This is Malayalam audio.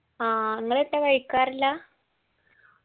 ആ ഇങ്ങളൊട്ടു കഴിക്കാറില്ലാ